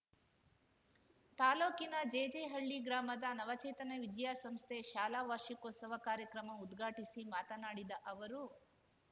ತಾಲೂಕಿನ ಜೆಜೆಹಳ್ಳಿ ಗ್ರಾಮದ ನವಚೇತನ ವಿದ್ಯಾಸಂಸ್ಥೆ ಶಾಲಾವಾರ್ಷಿಕೋತ್ಸವ ಕಾರ್ಯಕ್ರಮ ಉದ್ಘಾಟಿಸಿ ಮಾತನಾಡಿದ ಅವರು